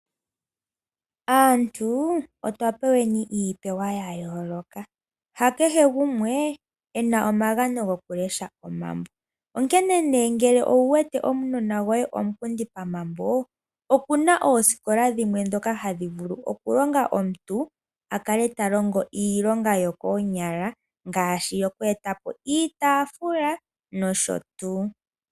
Aantu otwa peweni iipewa ya yooloka. Ha kehe gumwe e na omagano gokulesha omambo, onkene nduno ngele owu wete omunona goye omunkindi pomambo, opu na oosikola dhimwe ndhoka hadhi vulu okulonga omuntu a kale ta longo iilonga yokoonyala ngaashi yoku eta po iitaafula nosho tuu.